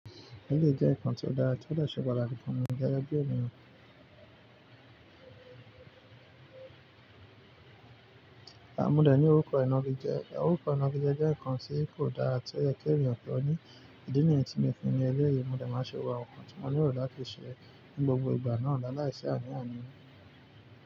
Ẹlẹ́yi jẹ́ nkan tió dára tí ó de se pataki fún mi gege bi ènìyàn. Modẹ̀ ni orúkọ ìnági jẹ́. Òrúkọ ìnági jẹ́ nkan tí kò dára tí oye ki ènìyàn mọ ní. Ìdí nìyí tí mo fún ní ẹlẹ́rẹ̀, àmùdẹ̀ máa ṣòro nkan tí mo nílò láti ṣẹ ni gbogbo ìgbà náà láìsí ànì ànì.